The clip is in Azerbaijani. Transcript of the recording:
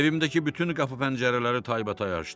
Evimdəki bütün qapı-pəncərələri taybatay açdım.